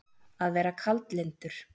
Að vera kaldlyndur